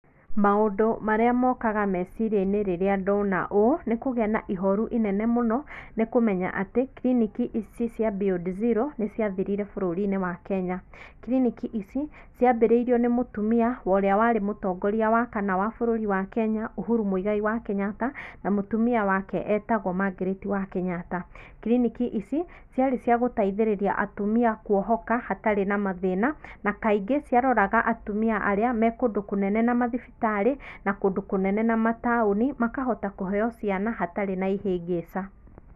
Maũndũ marĩa mokaga meciria-inĩ rĩrĩa ndona ũũ nĩ kũgĩa na ihoru inene mũno nĩkũmenya atĩ kiliniki ici cia Beyond Zero nĩciathirire bũrũri-inĩ wa Kenya. kiliniki ici ciambĩrĩirio nĩ mũtumia wa ũria wari mũtongoria wa kana wa bũrũri wa Kenya Uhuru Muigai wa Kenyatta na mũtumia wake etagwo Margaret wa Kenyatta. Kiliniki ici ciarĩ cia gũteithĩrĩria atumia kwohoka hatarĩ na mathĩna, na kaingĩ ciaroraga atumia arĩa me kũndũ kũnene na mathibitarĩ na kũndũ kũnene na mataũni makahota kũheywo ciana hatarĩ na ĩhĩngĩca.